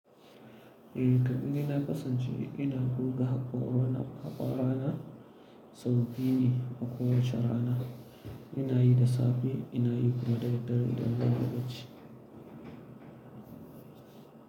E, kam ni dai na kasance e ina goga haƙora na haƙwara na sabobi ne a kowace rana. Ina yi da safe ina yi kuma da daddare idan zan yi bacci.